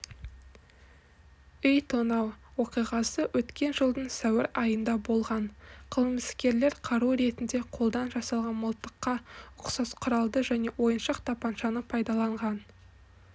үй тонау оқиғасы өткен жылдың сәуір айында болған қылмыскерлер қару ретінде қолдан жасалған мылтыққа ұқсас құралды және ойыншық тапаншаны пайдаланған